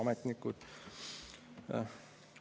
Ametnikud!